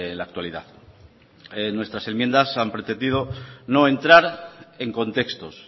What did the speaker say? la actualidad nuestras enmiendas han pretendido no entrar en contextos